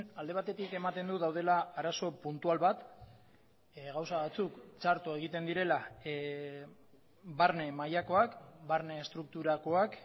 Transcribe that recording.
alde batetik ematen du daudela arazo puntual bat gauza batzuk txarto egiten direla barne mailakoak barne estrukturakoak